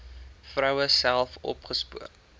vroue self opgespoor